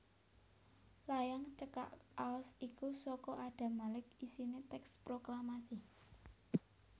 Layang cekak aos iku saka Adam Malik isiné tèks proklamasi